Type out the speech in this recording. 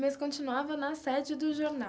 Mas continuava na sede do jornal.